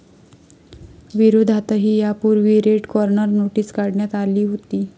विरोधातही यापूर्वी red corner notice काढण्यात आली होती.